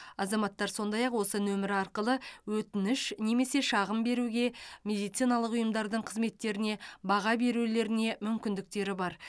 азаматтар сондай ақ осы нөмір арқылы өтініш немесе шағым беруге медициналық ұйымдардың қызметтеріне баға берулеріне мүмкіндіктері бар